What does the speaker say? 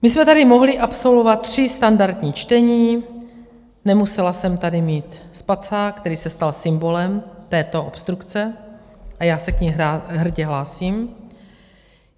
My jsme tady mohli absolvovat tři standardní čtení, nemusela jsem tady mít spacák, který se stal symbolem této obstrukce, a já se k ní hrdě hlásím.